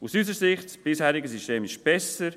Aus unserer Sicht ist das bisherige System besser.